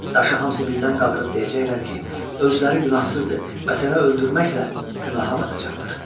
Daşı hamısı birdən qaldırıb deyəcəklər ki, özləri günahsızdır və sənə öldürməklə günaha batacaqlar.